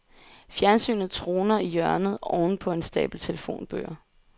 Fjernsynet troner i hjørnet ovenpå en stabel telefonbøger.